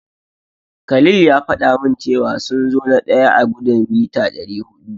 Khalil ya faɗa min cewa sun zo na daya a gudun mita dari hudu.